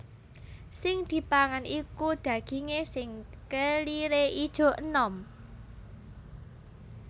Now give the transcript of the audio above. Sing dipangan iku dagingé sing keliré ijo enom